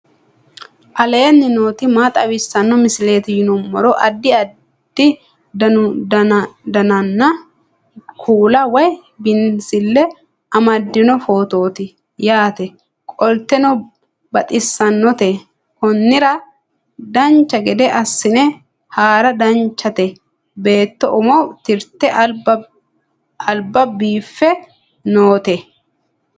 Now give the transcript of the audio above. aleenni nooti maa xawisanno misileeti yinummoro addi addi dananna kuula woy biinsille amaddino footooti yaate qoltenno baxissannote konnira dancha gede assine haara danchate beetto umo tirte alba biiffe noote